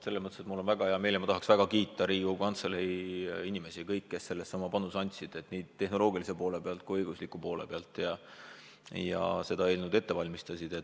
Mul on väga hea meel ja ma tahan väga kiita Riigikogu Kantselei inimesi, kes selleks oma panuse andsid nii tehnoloogilise poole pealt kui õigusliku poole pealt, aidates seda eelnõu ette valmistada.